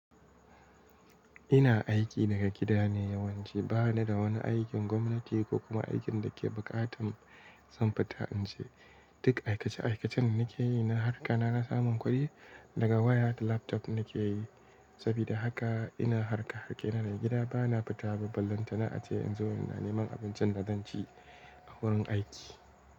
Ina aiki daga gida ne yawanci bana da wani aikin gwamnati ko kuma aikin da ke buƙatar zan fita in je. Duk aikace aikacen nake yi na harƙana na samun kuɗi daga waya da laptop nake yi. Sabida haka ina harƙa a gida ne, gida bana fita ba. Ballan ta na a ce in zo ina neman abincin da zan ci a wurin aiki.